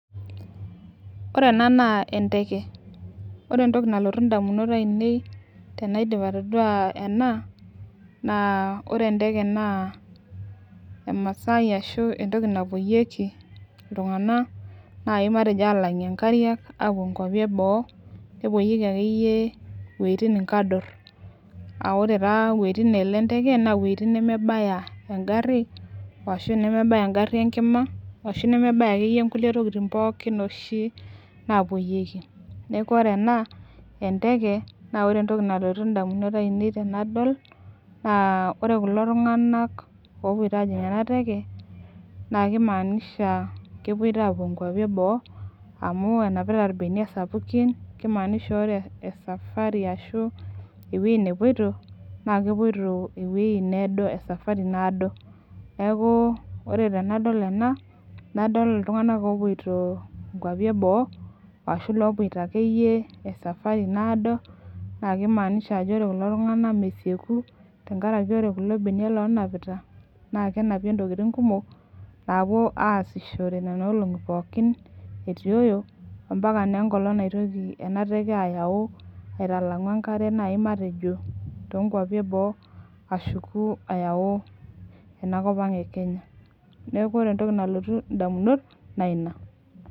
Ore ena naa enteke, ore entoki nalotu ndamunot ainei tenaidip atodua ena naa ore enteke naa emasai ashu entoki napuoyieki iltung'anak nai matejo aalang'ie inkariak aapuo inkuapi e boo, kepuoyieki akeyieyie iwueitun nkador aa ore taa iwueitin naalo enteke naa iwueitin inemebaya eng'ari ashu nemebaya eng'ari enkima ashu nemebaya akeyie nkulie tokitin pookin oshi naapuoyieki. Neeku ore ena enteke naa entoki nalotu ndamunot ainei tenadol naa ore kulo tung'anak aapuito aajing' ena teke naake imaanisha kepoito aapuo nkuapi e boo amu enapita irbeniak sapukin, kimaanisha ore esafari ashu iwuei nepuito naake epuoito ewuei needo esafari naado. Neeku ore tenadol ena nadol iltung'anak oopuito nkuapi e boo ashu loopuito ake esafari naado naale imaanisha ajo ore kuko tung'anak mesieku tenkaraki ore kulo beniak loonapita naake enapie intokitin kumok naapou aasishore nena olong'i pookin etioyo mpaka naa enkolong' naitoki ena teke ayau aitalang'u enkare nai matejo too nkuapi e boo ashuku ayau enakop ang' e Kenya. Neeku ore entoki nalotu ndamunot naa ina.